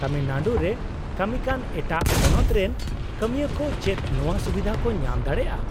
-ᱛᱟᱢᱤᱞᱱᱟᱲᱩ ᱨᱮ ᱠᱟᱹᱢᱤᱠᱟᱱ ᱮᱴᱟᱜ ᱯᱚᱱᱚᱛᱨᱮᱱ ᱠᱟᱹᱢᱤᱭᱟᱹ ᱠᱚ ᱪᱮᱫ ᱱᱚᱶᱟᱹ ᱥᱩᱵᱤᱫᱷᱟ ᱠᱚ ᱧᱟᱢ ᱫᱟᱲᱮᱭᱟᱜᱼᱟ ?